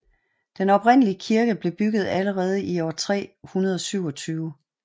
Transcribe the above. Den oprindelige kirke blev bygget allerede i år 327